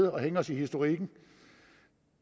at hænge os i historikken